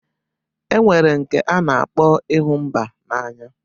E nwere nke a na-akpọ ịhụ mba n'anya.